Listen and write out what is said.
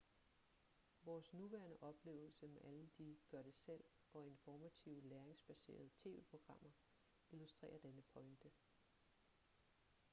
vores nuværende oplevelse med alle de gør-det-selv og informative læringsbaserede tv-programmer illustrerer denne pointe